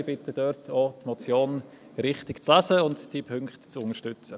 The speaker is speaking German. Ich bitte, die Motion richtig zu lesen und die Punkte zu unterstützen.